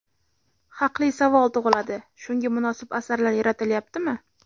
Haqli savol tug‘iladi, shunga munosib asarlar yaratilyaptimi?